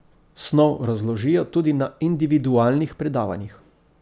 Snov razložijo tudi na individualnih predavanjih.